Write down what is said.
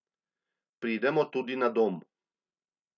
Pridemo tudi na dom.